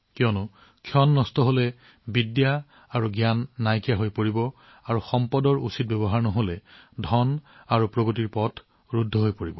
কিয়নো সময়ৰ নষ্টৰ দ্বাৰা বিদ্যা আৰু জ্ঞান হেৰাই যায় আৰু কণাৰ ধ্বংসৰ দ্বাৰা সম্পদ আৰু প্ৰগতিৰ পথ অৱৰুদ্ধ হয়